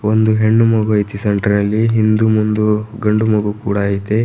ಒಂದು ಹೆಣ್ಣು ಮಗು ಐತಿ ಸೆಂಟರ್ ಲಿ ಹಿಂದೂ ಮುಂದು ಗಂಡು ಮಗು ಕೂಡ ಐತೆ.